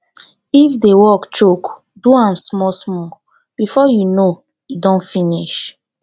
if di work choke do am small small before you know e don finish